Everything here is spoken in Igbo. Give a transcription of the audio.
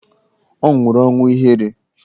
Ọ nwụrụ ọnwụ ihere.